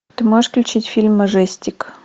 ты можешь включить фильм мажестик